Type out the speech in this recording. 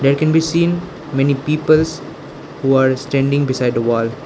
i can be seen many peoples were standing beside the wall.